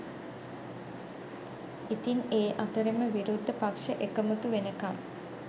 ඉතින් ඒ අතරෙම විරුද්ධ පක්‍ෂ එකමුතු වෙනකම්